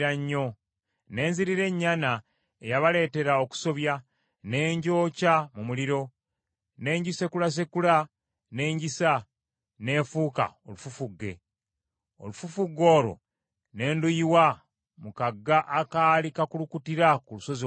Ne nzirira ennyana eyabaleetera okusobya, ne ngyokya mu muliro. Ne ngisekulasekula ne ngisa, n’efuuka olufufugge. Olufufugge olwo ne nduyiwa mu kagga akaali kakulukutira ku lusozi olunene.